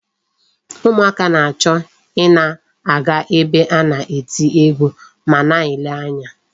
Ụmụaka na-achọ ị na-aga ebe a na-eti egwu ma na-ele anya.